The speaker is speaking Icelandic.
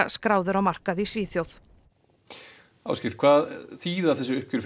skráður á markað í Svíþjóð hvað þýðir þetta uppgjör